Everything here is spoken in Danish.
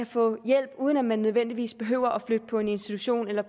få hjælp uden at man nødvendigvis behøver at flytte på en institution eller